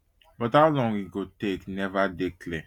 but how long e go take neva dey clear